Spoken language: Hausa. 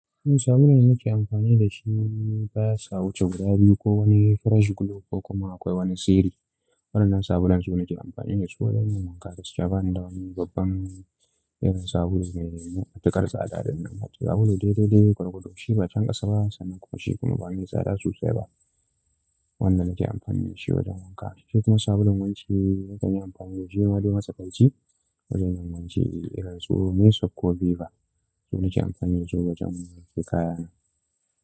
Wani sabulun nake amfani da shi basa wuce guda biyu ko wani fresh glow ko kuma akwai wani siri. Waɗanan sabulun su nake amfani da su wajen yin wanka gaskiya, da wani babban irin sabulu mai matuƙar tsada dinnan. Sabulu daidai dai ƙwarƙwado shi ba canƙasa ba sannan kuma shi kuma ba mai tsada sosai ba. Wanda nake amfani da shi wajen wanka. Shi kuma sabulun wanki nakan yi amfani da shi ma dai matsakaici wajen yin wanki irin su mesoap ko ViVa. Su nake amfani da su wajen wanke kaya na.